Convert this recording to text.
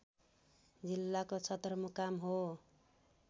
जिल्लाको सदरमुकाम हो